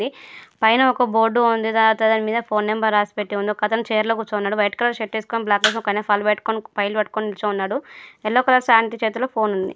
పైన ఒక బోర్డ్ ఉంది. దాని మీద నంబర్ పెట్టి ఉంది. ఒకతను చేర్ లో కూర్చున్నాడు. బయటి షర్టు వేసుకొని బ్లాక్ ప్యాంట్ ఒకతను ఫైల్ పట్టుకొని ఫైల్ పట్టుకొని కూర్చొని ఉన్నాడు. ఎల్లో కలర్ సారీ ఆంటీ చేతిలో ఫోన్ ఉంది.